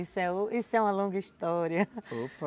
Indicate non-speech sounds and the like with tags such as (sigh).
Isso é, isso é uma longa história, (laughs) opa.